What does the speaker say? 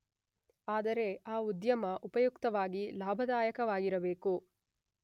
ಆದರೆ ಆ ಉದ್ಯಮ ಉಪಯುಕ್ತವಾಗಿ ಲಾಭದಾಯಕವಾಗಿರಬೇಕು.